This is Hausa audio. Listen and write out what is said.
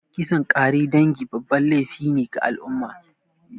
Kisan kare dangi babban laify ne ga al'umma